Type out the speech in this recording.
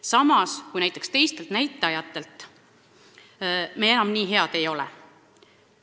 Samas mingitelt teistelt näitajatelt me enam nii head ei ole.